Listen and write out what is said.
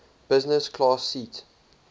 business class seat